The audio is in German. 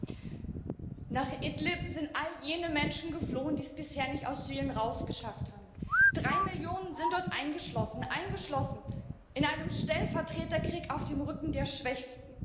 Frau Präsidentin! Nach Idlib sind all jene Menschen geflohen, die es bisher nicht aus Syrien heraus geschafft haben. Drei Millionen sind dort eingeschlossen eingeschlossen in einem Stellvertreterkrieg auf dem Rücken der Schwächsten.